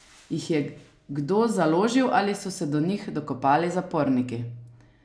Jih je kdo založil ali so se do njih dokopali zaporniki?